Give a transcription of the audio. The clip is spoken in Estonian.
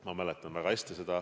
Ma mäletan seda väga hästi.